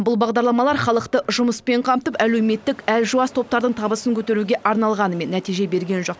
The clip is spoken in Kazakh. бұл бағдарламалар халықты жұмыспен қамтып әлеуметтік әлжуаз топтардың табысын көтеруге арналғанымен нәтиже берген жоқ